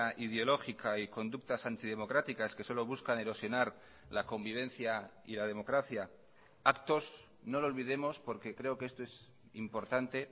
ideológica y conductas antidemocráticas que solo buscan erosionar la convivencia y la democracia actos no lo olvidemos porque creo que esto es importante